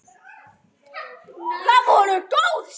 Þjóðin elskar hana.